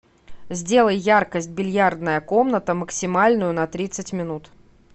сделай яркость бильярдная комната максимальную на тридцать минут